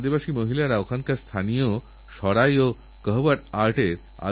আমারপ্রিয় দেশবাসী আমি শিল্পী বর্মার প্রতি কৃতজ্ঞ উনি আমাকে একটি ঘটনার কথাজানিয়েছেন